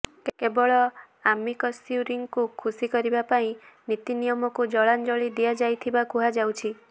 କେବଳ ଆମିକସ୍କ୍ୟୁରିଙ୍କୁ ଖୁସି କରିବା ପାଇଁ ନୀତିନିୟମକୁ ଜଳାଞ୍ଜଳି ଦିଆଯାଇଥିବା କୁହାଯାଉଛି